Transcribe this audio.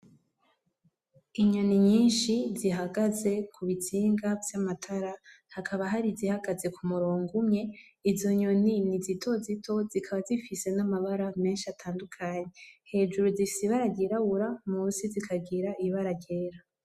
Inyoni nyishi zihagaze kubitsinga vy’amatara hakaba hari izihagaze ku’umurongo umwe izo nyini ni zitozito zikaba zifise n’amabara meshi atandukanye hejuru zifise ibara ryirabura musi rikagira ibara ryera.